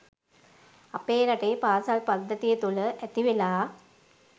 අපේ රටේ පාසල් පද්ධතිය තුළ ඇතිවෙලා